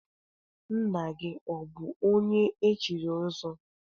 Nna gị ọbụ onye echiri ọzọ?